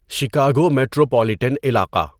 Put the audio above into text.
Chicago metropolitan علاقہ